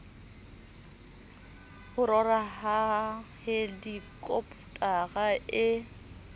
ho rora ha helikopotara e